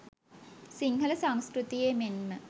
සිංහල සංස්කෘතියේ මෙන්ම